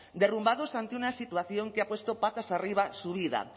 derrumbados ante una situación que ha puesto patas arriba su vida